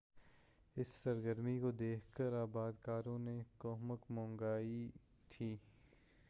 اس سرگرمی کو دیکھ کر آباد کاروں نے کمک منگوائی تھی